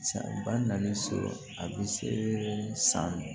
San ba naani sɔrɔ a bɛ se san